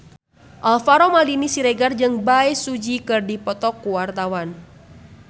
Alvaro Maldini Siregar jeung Bae Su Ji keur dipoto ku wartawan